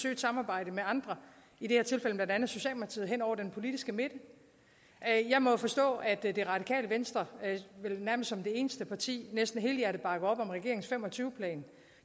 et samarbejde med andre i det her tilfælde blandt andet socialdemokratiet hen over den politiske midte jeg må jo forstå at det det radikale venstre vel nærmest som det eneste parti næsten helhjertet bakker op om regeringens fem og tyve plan